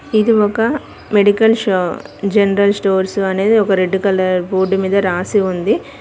ఇది ఒక మెడికల్ షో జనరల్ స్టోర్సు అనేది ఒక రెడ్ కలర్ బోర్డు మీద రాసి ఉంది.